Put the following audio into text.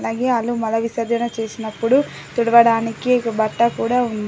అలాగే ఆళ్ళు మల విసర్జన చేసినప్పుడు తుడవడానికి బట్ట కూడా ఉంది.